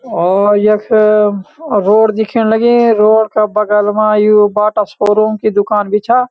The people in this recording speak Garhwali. और यख रोड दिखेण लगीं रोड का बगल मा यु बाटा शोरूम की दूकान भी छा।